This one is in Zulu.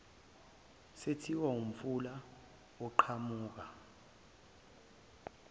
sethiwa ngomfula oqhamuka